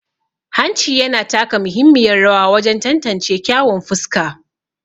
Hanci yana taka muhimmiyar rawa wajen tantance kyawun fuska.